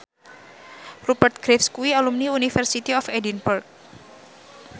Rupert Graves kuwi alumni University of Edinburgh